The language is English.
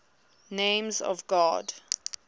names of god